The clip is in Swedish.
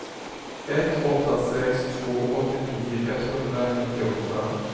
ett åtta sex två åttionio etthundranittioåtta